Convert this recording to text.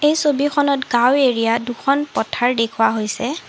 ছবিখনত গাওঁ এৰিয়া দুখন পথাৰ দেখুওৱা হৈছে।